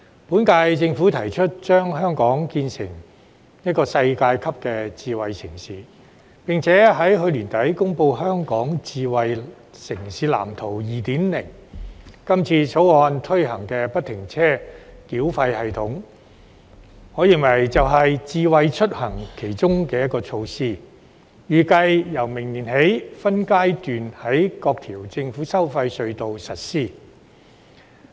本屆政府提出將香港建設成為一個世界級的智慧城市，並且在去年年底公布《香港智慧城市藍圖 2.0》，今次《條例草案》推行的不停車繳費系統，我認為是其中一項"智慧出行"措施，這系統預計由明年起分階段在各條政府收費隧道實施。